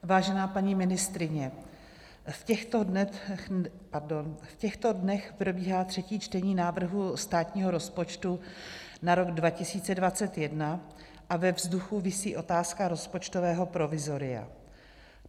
Vážená paní ministryně, v těchto dnech probíhá třetí čtení návrhu státního rozpočtu na rok 2021 a ve vzduchu visí otázka rozpočtového provizoria.